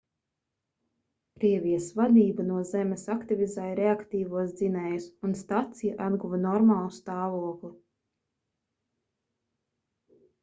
krievijas vadība no zemes aktivizēja reaktīvos dzinējus un stacija atguva normālu stāvokli